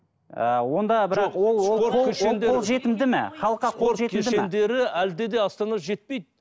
спорт кешендері әлде де астанада жетпейді